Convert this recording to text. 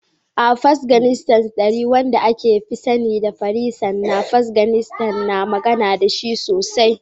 A Afganistan, Dari, wanda aka fi sani da Farisa na Afganistan, ana magana da shi sosai.